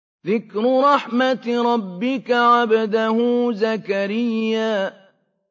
ذِكْرُ رَحْمَتِ رَبِّكَ عَبْدَهُ زَكَرِيَّا